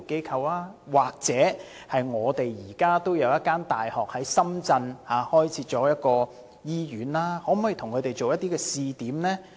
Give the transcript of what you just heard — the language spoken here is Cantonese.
又或考慮與本港一所大學在深圳開設的一間醫院合作設立試點呢？